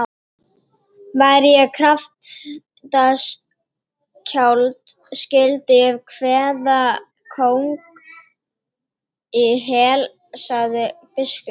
Væri ég kraftaskáld skyldi ég kveða kóng í hel, sagði biskup.